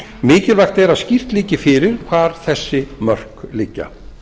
mikilvægt er að skýrt liggi fyrir hvar þessi mörk liggja